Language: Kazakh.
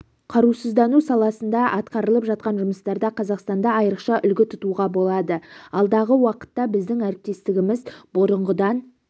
қарусыздану саласында атқарылып жатқан жұмыстарда қазақстанды айрықша үлгі тұтуға болады алдағы уақытта біздің әріптестігіміз бұрынғыдан